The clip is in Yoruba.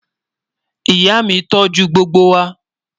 Ìyà mi tó jù gbogbo wa.